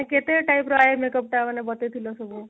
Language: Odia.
କେତେ type ର eye makeup ତ ମାନେ ବତେଇ ଥିଲ ସବୁ